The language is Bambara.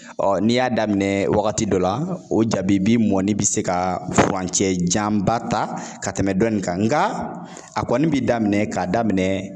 Ɔ n'i y'a daminɛ wagati dɔ la o jabi b'i mɔni bɛ se ka furancɛ janba ta ka tɛmɛ dɔ in kan nka a kɔni bi daminɛ k'a daminɛ